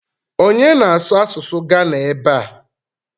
Onye na-asụ asụsụ Gana ebe a?